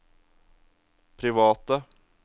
private